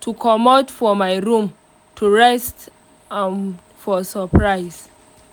to comot for my room to rest and for surprise.